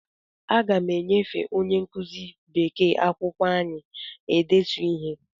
Aga m enyefe onye nkụzi bekee akwụkwọ anyị e detu ihe.